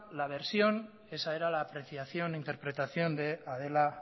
la versión esa era la apreciación interpretación de adela